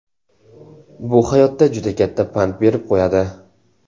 Bu hayotda juda katta pand berib qo‘yadi.